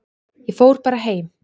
Ég fór bara heim.